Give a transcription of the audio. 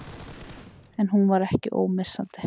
En hún var ekki ómissandi.